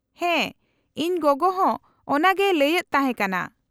-ᱦᱮᱸ, ᱤᱧ ᱜᱚᱜᱚ ᱦᱚᱸ ᱚᱱᱟᱜᱮᱭ ᱞᱟᱹᱭᱮᱫ ᱛᱟᱦᱮᱸ ᱠᱟᱱᱟ ᱾